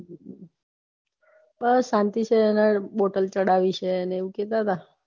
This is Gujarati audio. બસ શાંતિ છે એને bottle ચડાવી છે અને આવું કેતા હતા